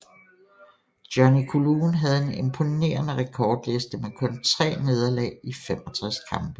Johnny Coulon havde en imponerende rekordliste med kun 3 nederlag i 65 kampe